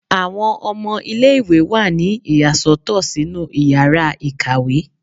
Awọn ọmọ ile-iwe wa ní iyasotọ sinú íyarà ikáwe